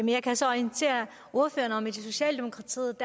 jeg kan så orientere ordføreren om i socialdemokratiet